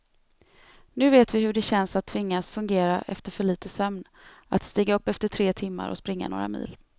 Nu vet vi hur det känns att tvingas fungera efter för lite sömn, att stiga upp efter tre timmar och springa några mil.